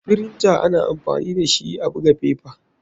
Firinta ana amfani dashi a buga fefa.